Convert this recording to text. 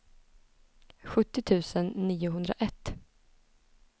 sjuttio tusen niohundraett